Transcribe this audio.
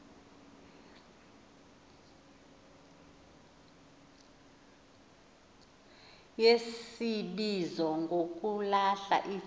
yesibizo ngokulahla iceba